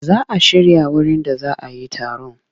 Za a shirya wurin da za a yi taron.